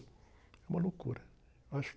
É uma loucura. Acho